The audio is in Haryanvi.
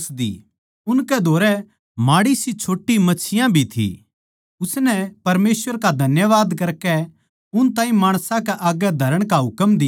उनकै धोरै माड़ीसी छोट्टी मच्छियाँ भी थी उसनै परमेसवर का धन्यवाद करकै उन ताहीं माणसां कै आग्गै धरण का हुकम दिया